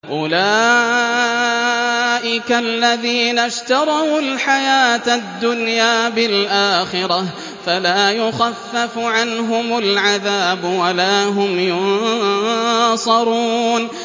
أُولَٰئِكَ الَّذِينَ اشْتَرَوُا الْحَيَاةَ الدُّنْيَا بِالْآخِرَةِ ۖ فَلَا يُخَفَّفُ عَنْهُمُ الْعَذَابُ وَلَا هُمْ يُنصَرُونَ